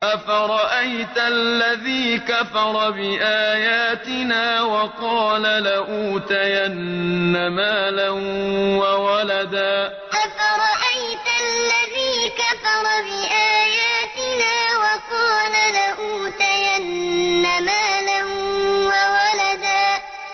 أَفَرَأَيْتَ الَّذِي كَفَرَ بِآيَاتِنَا وَقَالَ لَأُوتَيَنَّ مَالًا وَوَلَدًا أَفَرَأَيْتَ الَّذِي كَفَرَ بِآيَاتِنَا وَقَالَ لَأُوتَيَنَّ مَالًا وَوَلَدًا